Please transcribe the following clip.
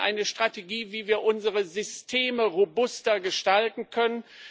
Wir brauchen eine Strategie, wie wir unsere Systeme robuster gestalten können.